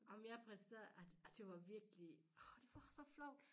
Ej men jeg præsterede ah ah det var virkelig det var så flovt